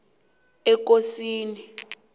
ekosini